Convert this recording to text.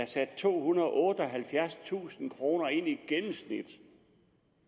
satte tohundrede og otteoghalvfjerdstusind kroner ind